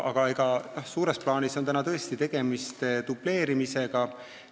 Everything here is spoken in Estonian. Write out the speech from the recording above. Aga suures plaanis on tõesti tegemist dubleerimisega.